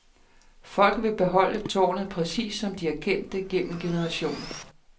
Folk vil beholde tårnet præcis, som de har kendt det gennem generationer.